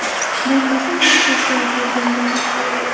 Bo‘lmasa yo‘q”, deb javob bergandilar.